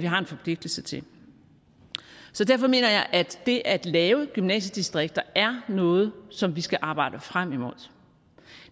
vi har en forpligtelse til så derfor mener jeg at det at lave gymnasiedistrikter er noget som vi skal arbejde frem imod